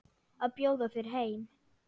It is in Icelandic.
Að bjóða þér heim.